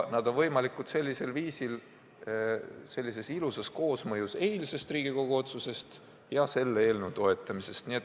Need on võimalikud, kui tekib eilse Riigikogu otsuse ja selle eelnõu toetamise ilus koosmõju.